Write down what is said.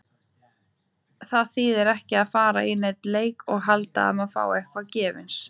Það þýðir ekki að fara í neinn leik og halda að maður fái eitthvað gefins.